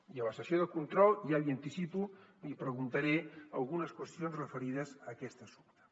i a la sessió de control ja l’hi anticipo li preguntaré algunes qüestions referides a aquest assumpte